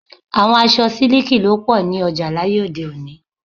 Àwọn aṣọ siliki ló pọ ní ọjà láyé òde-òní.